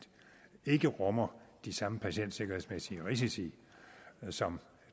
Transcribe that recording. ikke rummer de samme patientsikkerhedsmæssige risici som